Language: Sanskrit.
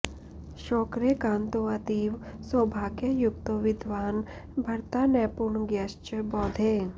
शौक्रे कान्तोऽतीव सौभाग्ययुक्तो विद्वान् भर्ता नैपुण ज्ञश्च बौधे